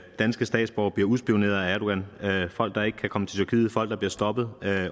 danske statsborgere bliver udspioneret af erdogan der er folk der ikke kan komme til tyrkiet folk der bliver stoppet